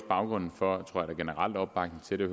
baggrunden for den generelle opbakning til det